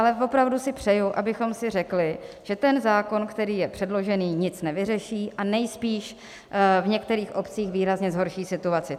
Ale opravdu si přeju, abychom si řekli, že ten zákon, který je předložený, nic nevyřeší a nejspíš v některých obcích výrazně zhorší situaci.